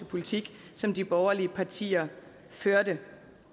politik som de borgerlige partier førte